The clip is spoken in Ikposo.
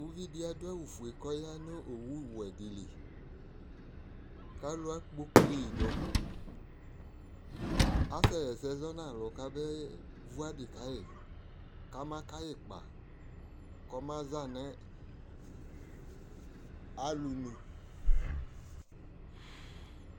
uvi di ado awu fue ko ɔya no owu wɛ di li ko alo akpokli yi do asɛ ɣa ɛsɛ zɔ no alo kabe vu adi kayi ko ama kayi ikpa ko ɔma za no alo nu